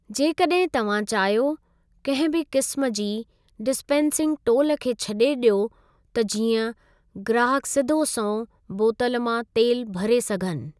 जेकॾहिं तव्हां चाहियो, कंहिं बि क़िस्मु जी डिस्पेन्सिन्ग् टोलु खे छॾे ॾियो त जीअं ग्राहकु सिधो संओं बोतल मां तेलु भरे सघनि।